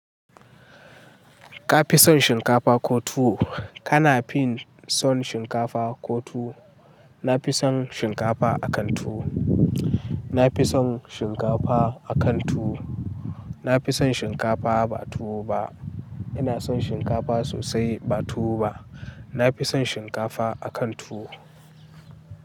Ka fi son shinkafa ko tuwo? Kana fin son shinkafa ko tuwo? Na fi son shinkafa akan tuwo. Na fi son shinkafa akan tuwo. Na fi son shinkafa ba tuwo ba. Ina son shinkafa sosai ba tuwo ba. Na fi son shinkafa akan tuwo.